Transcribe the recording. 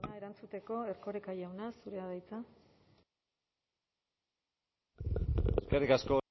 erantzuteko erkoreka jauna zurea da hitza eskerrik asko